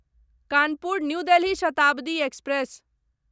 Kanpur New Delhi Shatabdi express